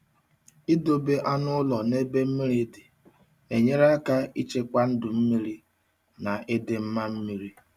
Idobe anụ ụlọ n'ebe mmiri dị na-enyere aka ichekwa ndụ mmiri na ịdị mma mmiri.